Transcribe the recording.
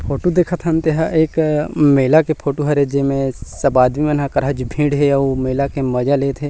Photo दिखत हन तेहा एक मेला के फोटो हरे जे में सब आदमी मन अलकरहाच भीड़ हे अउ मेला के मज़ा लेथ है।